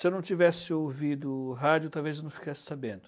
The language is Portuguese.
Se eu não tivesse ouvido o rádio, talvez eu não ficasse sabendo.